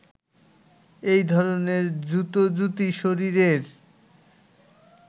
এই ধরনের জুতোজুতি শরীরের